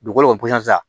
Dugukolo posɔn